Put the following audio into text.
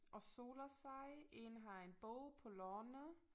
Og soler sig én har en bog på lårene